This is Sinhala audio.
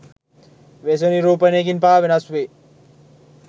වේශ නිරූපණයකින් පවා වෙනස් වෙයි.